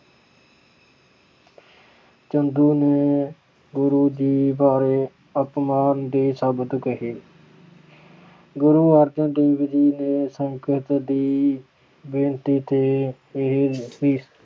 ਚੰਦੂ ਨੇ ਗੁਰੂ ਜੀ ਬਾਰੇ ਅਪਮਾਨ ਦੇ ਸ਼ਬਦ ਕਹੇ। ਗੁਰੂ ਅਰਜਨ ਦੇਵ ਜੀ ਨੇ ਸੰਗਤ ਦੀ ਬੇਨਤੀ ਤੇ ਇਹ ਅਹ